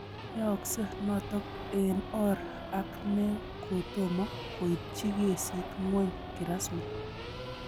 Yaakse noto eng' or ne ak ko tomo koitchi kesiit ng'wong' kirasmi